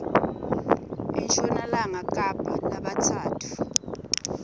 enshonalanga kapa labatsatfu